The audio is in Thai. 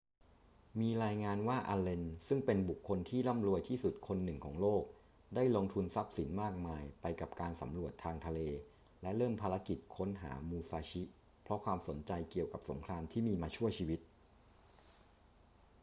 มีรายงานว่าอัลเลน ซึ่งเป็นบุคคลที่ร่ำรวยที่สุดคนหนึ่งของโลกได้ลงทุนทรัพย์สินมากมายไปกับการสำรวจทางทะเลและเริ่มภารกิจค้นหามูซาชิเพราะความสนใจเกี่ยวกับสงครามที่มีมาชั่วชีวิต